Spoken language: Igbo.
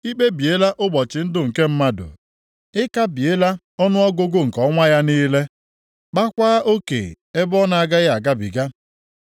Ị kpebiela ụbọchị ndụ nke mmadụ; ị kabiela ọnụọgụgụ nke ọnwa ya niile, kpaakwa oke ebe ọ na-agaghị agabiga.